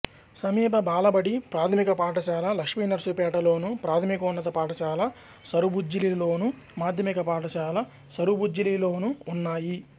సమీప బాలబడి ప్రాథమిక పాఠశాల లక్ష్మీనర్సుపేటలోను ప్రాథమికోన్నత పాఠశాల సరుబుజ్జిలిలోను మాధ్యమిక పాఠశాల సరుబుజ్జిలిలోనూ ఉన్నాయి